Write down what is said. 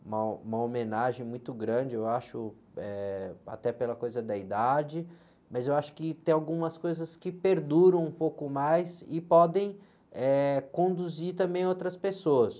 uma, uma homenagem muito grande, eu acho, eh, até pela coisa da idade, mas eu acho que tem algumas coisas que perduram um pouco mais e podem, eh, conduzir também outras pessoas.